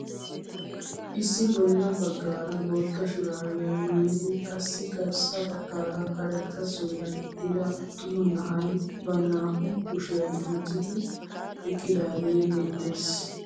Issi bolla baggaara bootta shuraabiyaa maayidi qassi garssa baggaara karetta suriyaa gixxida attuma na'ay ba naa"u kushiyaa miccidi eqqidaagee beettees.